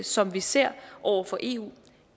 som vi ser over for eu